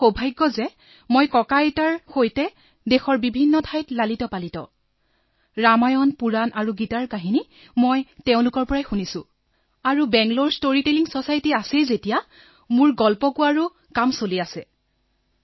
মোৰ সৌভাগ্য যে মই নিজৰ ককাআইতাৰ সৈতে এই দেশৰ বিভিন্ন স্থানত ডাঙৰদীঘল হৈছে আৰু সেইবাবে ৰামায়ণ পুৰণা আৰু গীতাৰ বহু কাহিনী মই শুনিছো আৰু বাঙালৰে ষ্টৰিটেলিং চচাইটি আছে যেতিয়া মই ষ্টৰীটেলাৰ হবলগীয়া আছিলেই